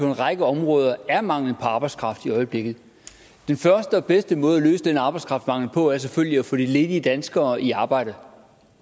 en række områder er mangel på arbejdskraft i øjeblikket den første og bedste måde at løse den arbejdskraftmangel på er selvfølgelig at få de ledige danskere i arbejde